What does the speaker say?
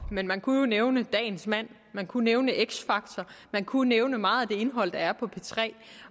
men man kunne jo nævne dagens mand man kunne nævne x factor man kunne nævne meget af det indhold der er på p3